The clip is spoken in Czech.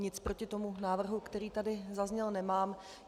Nic proti tomu návrhu, který tady zazněl, nemám.